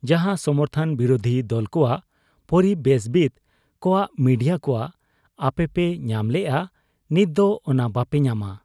ᱡᱟᱦᱟᱸ ᱥᱚᱢᱚᱨᱛᱷᱚᱱ ᱵᱤᱨᱩᱫᱷᱤ ᱫᱚᱞᱠᱚᱣᱟᱜ, ᱯᱚᱨᱤᱵᱮᱥᱵᱤᱛ ᱠᱚᱣᱟᱜ, ᱢᱤᱰᱤᱭᱟ ᱠᱚᱣᱟᱜ ᱟᱯᱮᱯᱮ ᱧᱟᱢ ᱞᱮᱜ ᱟ, ᱱᱤᱛᱫᱚ ᱚᱱᱟ ᱵᱟᱯᱮ ᱧᱟᱢᱟ ᱾